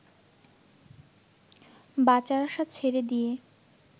বাঁচার আশা ছেড়ে দিয়ে